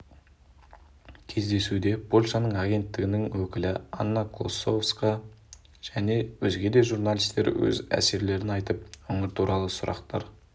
кездесуде польшаның агенттігінің өкілі анна клоссовска және өзге де журналистер өз әсерлерін айтып өңір туралы сұрақтар